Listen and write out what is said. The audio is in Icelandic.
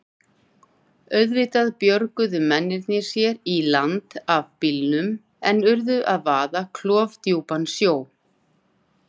Auðvitað björguðu mennirnir sér í land af bílnum en urðu að vaða klofdjúpan sjó.